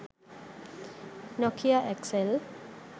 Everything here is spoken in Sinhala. nokia xl